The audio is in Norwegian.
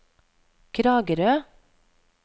Kragerø